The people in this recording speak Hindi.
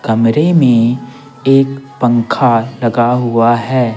कमरे में एक पंखा लगा हुआ है।